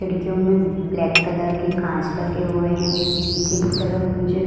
खिड़कियों में black colour के कांच लगे हुए हैं। नीचे की तरफ मुझे --